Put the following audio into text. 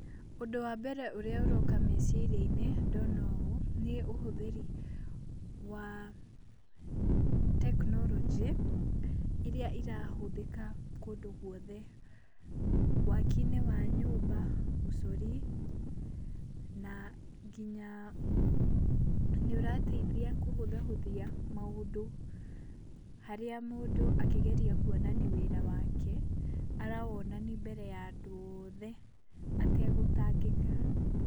Ũndũ wambere ũrĩa ũroka meciria-inĩ ndona ũũ, nĩũthĩri wa tekinorojĩ iria irahũthĩka kũndũ gwothe. Waki-inĩ wa nyũmba, ũcori na nginya nĩũrateithia kũhũthahũthia maũndũ harĩa mũndũ akĩgeria kwonania wĩra wake, arawonani mbere ya andũ othe ategũtangĩka.